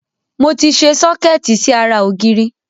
Mo ti sẹ sọ́kẹ́ẹ́tì sí ara ògiri.